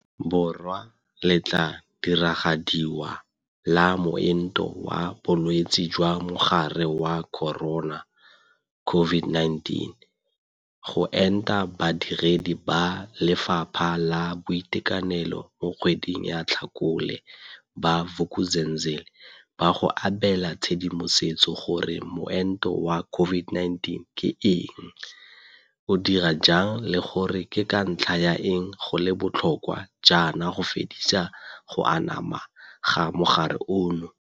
Borwa le tla diragadiwa la moento wa bolwetse jwa Mogare wa Corona, COVID-19, go enta badiredi ba lephata la boitekanelo mo kgweding ya Tlhakole, ba Vuk'uzenzele ba go abela tshedimosetso gore moento wa COVID-19 ke eng, o dira jang le gore ke ka ntlha ya eng go le botlhokwa jaana go fedisa go anama ga mogare ono.